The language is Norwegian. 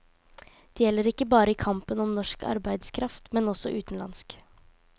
Det gjelder ikke bare i kampen om norsk arbeidskraft, men også utenlandsk.